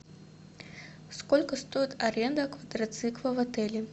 сколько стоит аренда квадроцикла в отеле